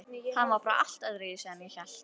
Hann var bara allt öðruvísi en ég hélt.